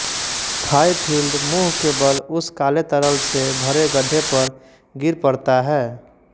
Fifield मुँह के बल उस काले तरल से भरे गड्ढे पर गिर पड़ता है